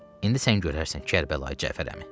İndi sən görərsən, Kərbəlayı Cəfər əmi.